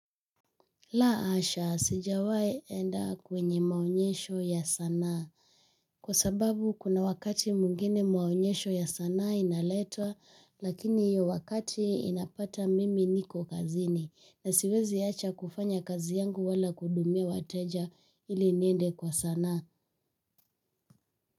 La hasha sijawai enda kwenye maonyesho ya sanaa. Kwa sababu kuna wakati mwingine maonyesho ya sanaa inaletwa lakini hiyo wakati inapata mimi niko kazini na siwezi acha kufanya kazi yangu wala kuhudumia wateja ili niende kwa sanaa.